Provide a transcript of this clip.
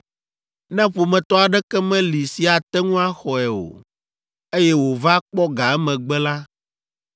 Ne ƒometɔ aɖeke meli si ate ŋu axɔe o, eye wòva kpɔ ga emegbe la,